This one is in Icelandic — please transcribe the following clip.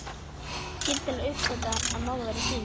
Skyndilega uppgötvaði hann að mamma var týnd.